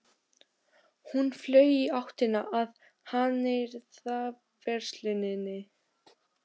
Hún flaug í áttina að hannyrðaversluninni.